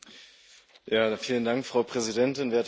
Frau Präsidentin, werte Kolleginnen und Kollegen!